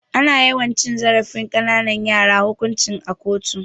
Ana yiwa cin zarafin ƙananan yara hukunci a kotu.